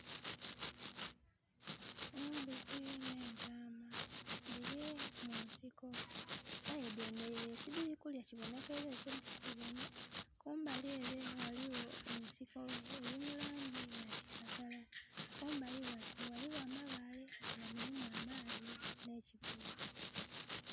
Embuzi nh'entaama dhili munsiko. Aye dhemeleire, tidhili kulya, kibonheka eliyo kye dhili kubona. Kumbali ele ghaliyo ensiko eli mu laangi ya kiragala. Kumbali ghale ghaligho amabaale nga mulimu amaadhi nh'eki...<skip>.